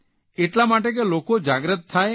એટલા માટે કે લોકો જાગૃત થાય અને